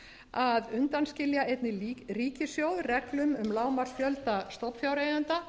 að undanskilja einnig ríkissjóð reglum um lágmarksfjölda stofnfjáreigenda